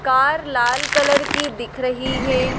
Car लाल colour की दिख रही है।